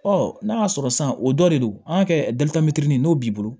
n'a y'a sɔrɔ san o dɔ de don an ka kɛ n'o b'i bolo